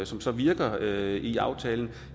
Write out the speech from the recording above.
som så virker i aftalen